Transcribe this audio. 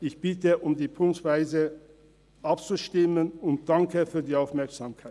Ich bitte darum, punktweise abzustimmen und danke für die Aufmerksamkeit.